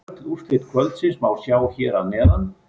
Öll úrslit kvöldsins má sjá hér að neðan